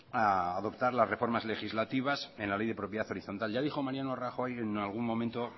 a adoptar las reformas legislativas en la ley de propiedad horizontal ya dijo mariano rajoy en algún momento